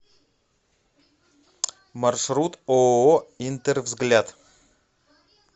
маршрут ооо интервзгляд